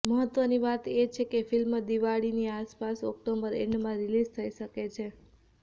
મહત્વની વાત એ છે કે ફિલ્મ દિવાળીની આસપાસ ઓક્ટોબર એન્ડમાં રિલીઝ થઈ શકે છે